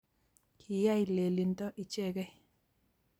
kiyay lelinto ichekei